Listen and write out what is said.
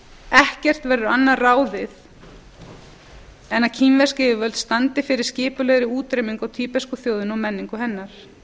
ekki verður annað ráðið en að kínversk yfirvöld standi fyrir skipulegri útrýmingu á tíbesku þjóðinni og menningu hennar